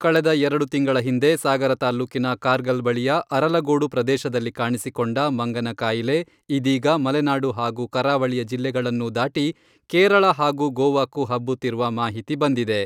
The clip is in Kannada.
ಕಳೆದ ಎರಡು ತಿಂಗಳ ಹಿಂದೆ ಸಾಗರ ತಾಲ್ಲೂಕಿನ ಕಾರ್ಗಲ್ ಬಳಿಯ ಅರಲಗೋಡು ಪ್ರದೇಶದಲ್ಲಿ ಕಾಣಿಸಿಕೊಂಡ ಮಂಗನ ಕಾಯಿಲೆ ಇದೀಗ ಮಲೆನಾಡು ಹಾಗೂ ಕರಾವಳಿಯ ಜಿಲ್ಲೆಗಳನ್ನೂ ದಾಟಿ ಕೇರಳ ಹಾಗೂ ಗೋವಾಕ್ಕೂ ಹಬ್ಬುತ್ತಿರುವ ಮಾಹಿತಿ ಬಂದಿದೆ.